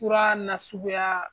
Fura nasuguya